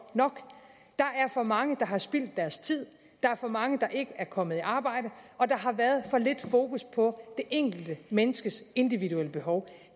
nok der er for mange der har spildt deres tid der er for mange der ikke er kommet i arbejde og der har været for lidt fokus på det enkelte menneskes individuelle behov